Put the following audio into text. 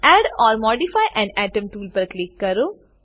add or modify an atom tool પર click કરો